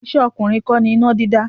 Iṣẹ́ ọkùnrin kọ́ ni iná dídá.